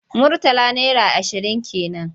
Murtala naira ashirin ke man.